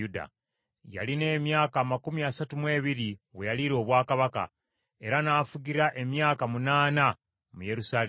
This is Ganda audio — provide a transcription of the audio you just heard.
Yalina emyaka amakumi asatu mu ebiri, we yaliira obwakabaka, era n’afugira emyaka munaana mu Yerusaalemi.